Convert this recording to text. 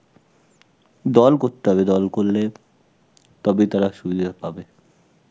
দল করতে হবে, দল করলে তবে তারা সুবিধা পাবে.